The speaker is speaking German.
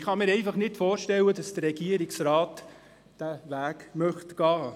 Ich kann mir nicht vorstellen, dass der Regierungsrat diesen Weg gehen will.